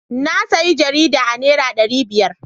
Na sayi jaridar a naira dari biyar.